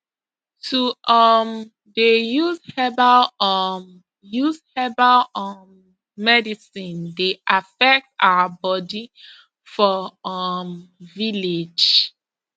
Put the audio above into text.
to um dey use herbal um use herbal um medicine dey affect our body for um village